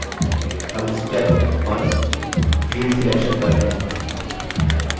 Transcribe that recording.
हम step 1field selection पर हैं